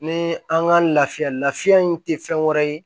Ni an ka lafiya la fiɲɛ in tɛ fɛn wɛrɛ ye